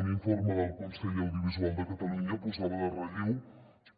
un informe del consell de l’audiovisual de catalunya posava en relleu